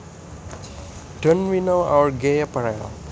Don we now our gay apparel